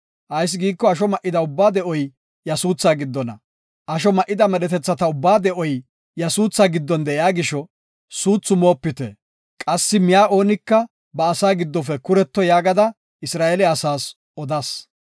Ayis giiko asho ma7ida ubbaa de7oy iya suutha giddona. Asho ma7ida medhetethata ubbaa de7oy iya suutha giddon de7iya gisho, suuthu moopite; qassi miya oonika ba asaa giddofe kuretto yaagada Isra7eele asaas odas.